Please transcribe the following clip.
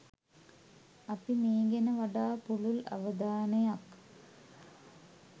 අපි මේ ගැන වඩා පුළුල් අවධානයක්